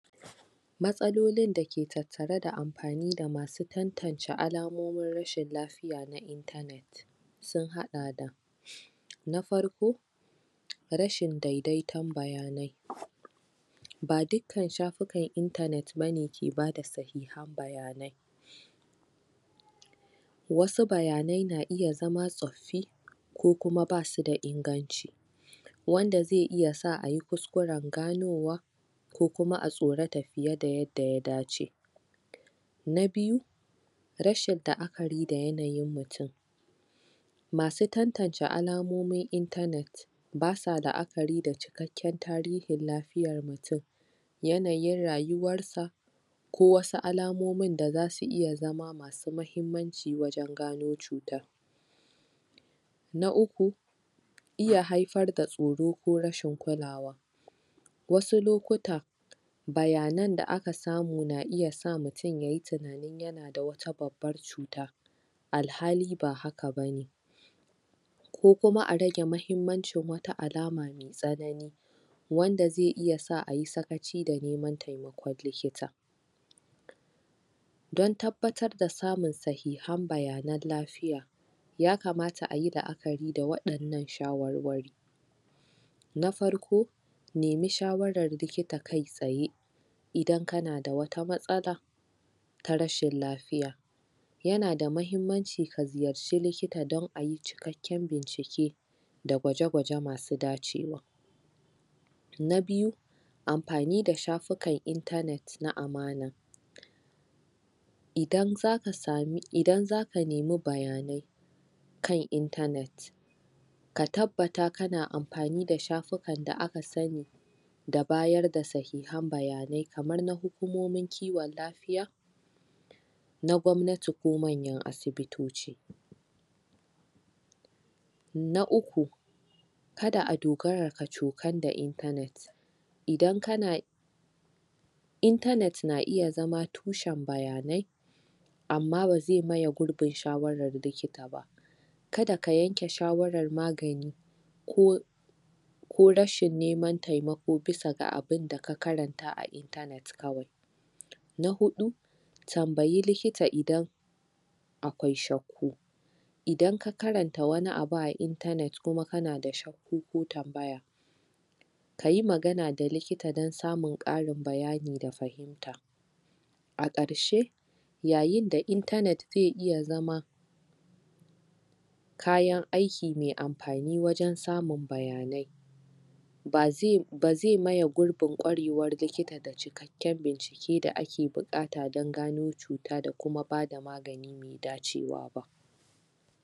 matsalolin da ke tattare da amfani da masu tantance alamomin rashin lafiya sun haɗa da na farko rashin daidaiton bayanai ba dukkan shafukan intanet bane ke bada sahihan bayanai wau bayanan na iya zama tsoffi ko kuma ba su da inganci wanda zai iya sa ayi kuskuren ganowa ko kuma a tsorata fiye da yadda ya dace na biyu rashin la'akari da yanayin mutum masu tantance alamomin intanet basa la'akari da cikakken tarihin lafiyan mutum yanayin rayuwar sa ko wasu alamomin da zasu iya zama mahimmanci wajen gano cutan na uku iya haifar da tsoro ko rashin kulawa wasu lokuta bayanan da aka samu na iya sa mutum yayi ta yana da wata babban cuta alhali ba haka bane ko kuma a rage mahimmancin wata alama mai tsanani wanda zai iya sa ayi sakaci da neman taimakon likita don tabbatar da samun sahihan bayanan lafiya yakamata ayi la'akari da waɗannan shawarwari na farko nema shawaran likita kai tsaye idan kana da wata matsala ta rashin lafiya yana da mahimmanci ka ziyarci likita don ayi cikakken bincike da gwaje gwaje masu dacewa na biyu amfani da shafukan intanet na amana idan zaka samu idan zaka nema bayanai kan intanet ka tabbata kana amfani da shafukan da aka sani da bayar da sahihan bayanai kamar na hukumomin kiwan lafiya na gwamnati ko manyan asibitoci na uku kar a dogara kwacokal da intanet idan kana intanet na iya zama tushen bayanai amma ba zai maye gurbin shawaran likita ba kada ka yanke shawaran magani ko ko rashin neman taimako bisa abunda ka karanta a intanet kawai na huɗu tambayi likita idan alkwai shakku idan ka karanta wani abu a intanet kuma kana da shakku ko tambaya kayi magana da likita don samun ƙarin bayani daga a ƙarshe yayin da intsnet zai iya zama kayan aiki mai amfani wajen samun bayanai ba zai ba zai maye gurbin ƙwarewan likita kan bincike da ake buƙata don gano doka da kuma bada magani mai dacewa ba